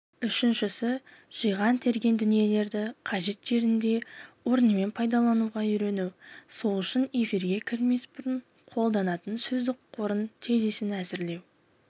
үшіншісі жиған-терген дүниелерді қажет жерінде орнымен пайдалануға үйрену сол үшін эфирге кірмес бұрын қолданатын сөздік қорының тезисін әзірлеу